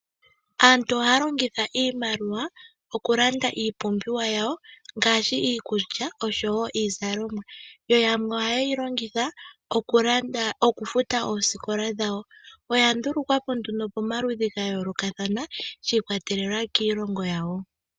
Aantu ohaya longitha iimaliwa okulanda iipumbiwa yawo ngaashi iikulya oshowo iizalomwa yo yamwe ohaye yi longitha okufuta oosikola dhawo. Oya ndulukwa po nduno pamaludhi ga yoolokathana shi ikwatelela kiilongo yawo.